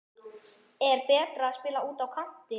Er betra að spila úti á kanti?